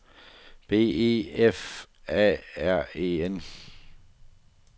B E F A R E N